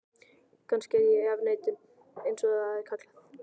Kannski er ég í afneitun, einsog það er kallað.